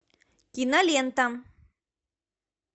кинолента